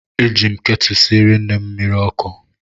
Eji m ketụlụ siere nne m mmiri